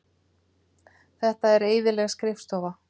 Þetta er eyðileg skrifstofa.